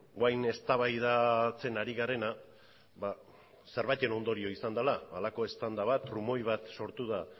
orain eztabaidatzen ari garena zenbaiten ondorioa izan dela halako eztanda bat trumoi bat sortu da